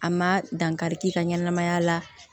A ma dankari k'i ka ɲɛnamaya la